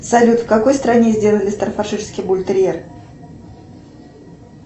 салют в какой стране сделали стаффордширский бультерьер